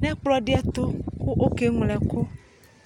nʋ ɛkplɔdɩɛtʋ kʋ okeŋlo ɛkʋ